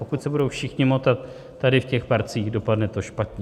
Pokud se budou všichni motat tady v těch parcích, dopadne to špatně.